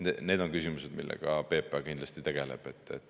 Need on küsimused, millega PPA kindlasti tegeleb.